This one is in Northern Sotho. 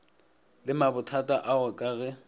le mabothata ao ka ge